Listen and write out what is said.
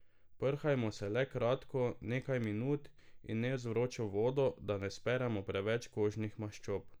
Prhajmo se le kratko, nekaj minut, in ne z vročo vodo, da ne speremo preveč kožnih maščob.